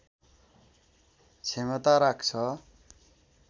क्षमता राख्छ